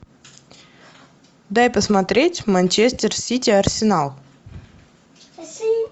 дай посмотреть манчестер сити арсенал